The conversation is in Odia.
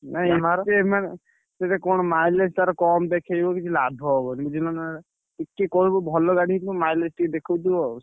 ନାଇ ମାନେ ସେଇଟା କଣ mileage ତାର କମ୍ ଦେଖେଇବ କିଛି ଲାଭ ହବନି ବୁଝିଲନା। ଟିକେ କହିବୁ ଭଲ ଗାଡି ହେଇଥିବ mileage ଟିକେ ଦେଖଉଥିବ।